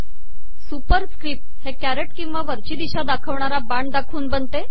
सुपरिसकपट हे कॅरट िकवा वरची िदशा दाखवणारा बाण दाखवून बनते